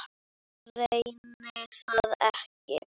Reyni það ekki.